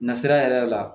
Nasira yɛrɛ la